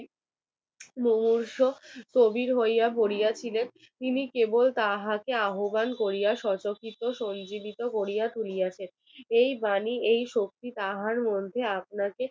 তিনি কেবল তাহাকে আহবান করিয়া শতকৃত সঞ্জীবিত করিয়া তুলিয়াছেন এই বাণী এই শক্তি